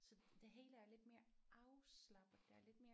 Så det hele er lidt mere afslappet der er lidt mere